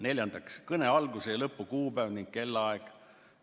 Neljandaks, kõne alguse ja lõpu kuupäev ning kellaaeg.